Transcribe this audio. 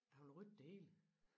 Han vil rykke det hele